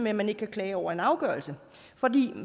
at man ikke kan klage over en afgørelse for